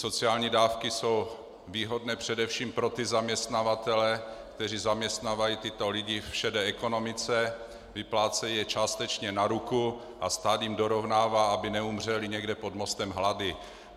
Sociální dávky jsou výhodné především pro ty zaměstnavatele, kteří zaměstnávají tyto lidi v šedé ekonomice, vyplácejí je částečně na ruku a stát jim dorovnává, aby neumřeli někde pod mostem hlady.